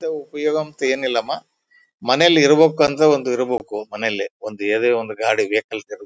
ಇದು ಉಪಯೋಗ ಅಂತ ಏನಿಲ್ಲಮ್ಮ ಮನೆಯಲ್ಲಿ ಇರ್ಬೇಕು ಅಂತ ಒಂದು ಇರ್ಬೇಕು ಮನೇಲಿ ಒಂದು ಯಾವದೇ ಒಂದು ಗಾಡಿ ವೆಹಿಕಲ್ಸ್ .